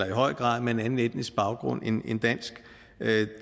i høj grad med en anden etnisk baggrund end dansk